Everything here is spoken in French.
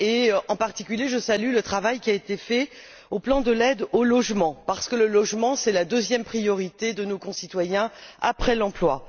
Je salue en particulier le travail qui a été fait sur le plan de l'aide au logement, car le logement est la deuxième priorité de nos concitoyens après l'emploi.